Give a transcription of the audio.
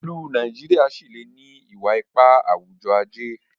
ilú Nàìjíríà sí lẹ ní iwa-ipa awujọ-aje